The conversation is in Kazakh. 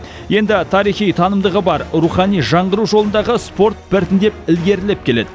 енді тарихи танымдығы бар рухани жаңғыру жолындағы спорт біртіндеп ілгерілеп келеді